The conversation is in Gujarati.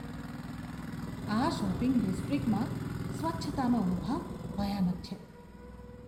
આ શોપિંગ ડિસ્ટ્રિક્ટમાં સ્વચ્છતાનો અભાવ ભયાનક છે.